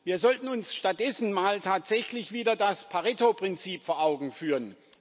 Wir sollten uns stattdessen mal tatsächlich wieder das Pareto Prinzip vor Augen führen.